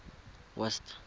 west